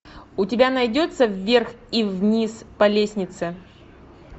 у тебя найдется вверх и вниз по лестнице